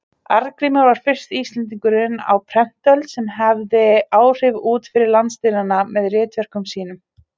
Arngrímur var fyrsti Íslendingurinn á prentöld sem hafði áhrif út fyrir landsteinanna með ritverkum sínum.